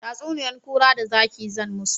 Tatsuniyan kura da zaki zan musu